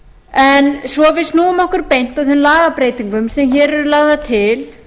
en svo við snúum okkur beint að þeim lagabreytingum sem hér eru lagðar til